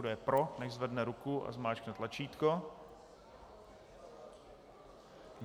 Kdo je pro, nechť zvedne ruku a zmáčkne tlačítko.